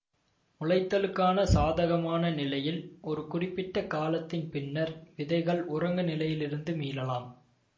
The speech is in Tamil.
முளைத்தலுக்கான சாதகமான நிலையில் ஒரு குறிப்பிட்ட காலத்தின் பின்னர் விதைகள் உறங்கு நிலையிலிருந்து மீளலாம்